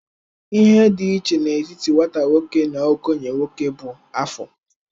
Ihe dị iche n'etiti nwata nwoke na okenye nwoke bụ afọ.